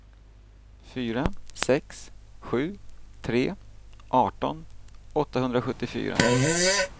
fyra sex sju tre arton åttahundrasjuttiofyra